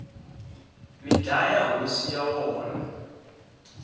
mi dlaya hosi ya wona